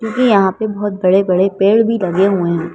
क्योंकि यहाँ पे बहुत बड़े-बड़े पेड़ भी लगे हुए हैं।